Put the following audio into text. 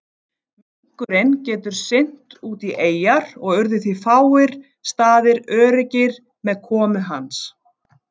Minkurinn getur synt út í eyjar og urðu því fáir staðir öruggir með komu hans.